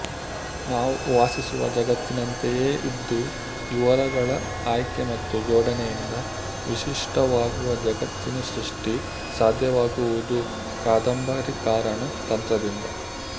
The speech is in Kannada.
ನಾವು ವಾಸಿಸುವ ಜಗತ್ತಿನಂತೆಯೇ ಇದ್ದೂ ವಿವರಗಳ ಆಯ್ಕೆ ಮತ್ತು ಜೋಡಣೆಯಿಂದ ವಿಶಿಷ್ಟವಾಗುವ ಜಗತ್ತಿನ ಸೃಷ್ಟಿ ಸಾಧ್ಯವಾಗುವುದು ಕಾದಂಬರಿಕಾರನ ತಂತ್ರದಿಂದ